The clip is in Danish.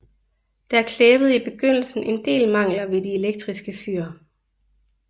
Der klæbede i begyndelsen en del mangler ved de elektriske fyr